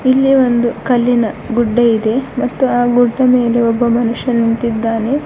ಇಲ್ಲಿ ಒಂದು ಕಲ್ಲಿನ ಗುಡ್ಡೆ ಇದೆ ಮತ್ತು ಆ ಗುಡ್ಡೆ ಮೇಲೆ ಒಬ್ಬ ಮನುಷ್ಯ ನಿಂತಿದ್ದಾನೆ.